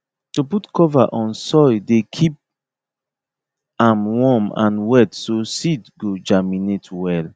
to put cover on soil dey keep am warm and wet so seed go germinate well